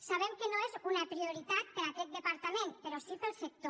sabem que no és una prioritat per a aquest departament però sí per al sector